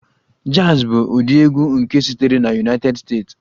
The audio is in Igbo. Jazz bụ ụdị egwu nke sitere na United States